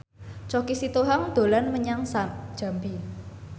Choky Sitohang dolan menyang Jambi